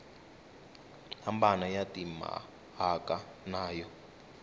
hambana ya timhaka na yo